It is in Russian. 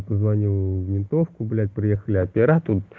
звоню в ментовку блять приехали опера тут